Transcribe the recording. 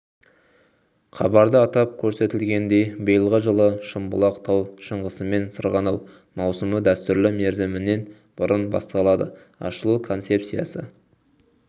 хабарда атап көрсетілгендей биылғы жылы шымбұлақ тау шаңғысымен сырғанау маусымы дәстүрлі мерзімінен бұрын басталады ашылу концепциясы